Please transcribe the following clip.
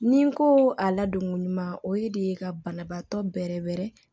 Ni n ko a ladonko ɲuman o ye de ka banabaatɔ bɛrɛ bɛrɛ